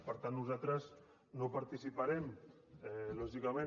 per tant nosaltres no participarem lògicament